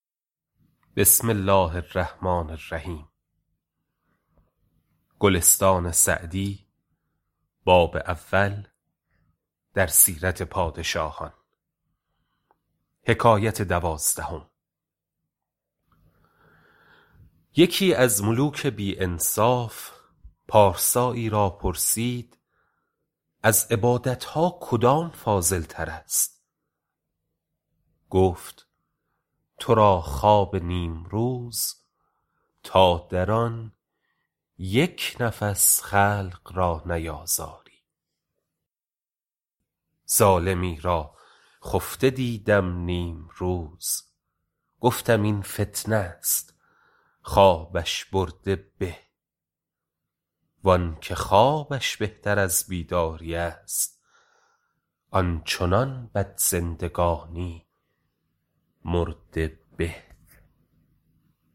یکی از ملوک بی انصاف پارسایی را پرسید از عبادت ها کدام فاضل تر است گفت تو را خواب نیمروز تا در آن یک نفس خلق را نیازاری ظالمی را خفته دیدم نیمروز گفتم این فتنه است خوابش برده به وآنکه خوابش بهتر از بیداری است آن چنان بد زندگانی مرده به